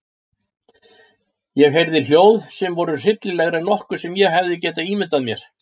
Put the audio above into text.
Ég heyrði hljóð sem voru hryllilegri en nokkuð sem ég hefði getað ímyndað mér.